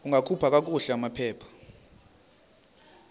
ungakhupha kakuhle amaphepha